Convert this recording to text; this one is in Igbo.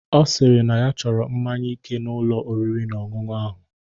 Ọ sịrị na ya chọrọ mmaṅya ike n'Ụlọ oriri na ọṅụṅụ ahụ.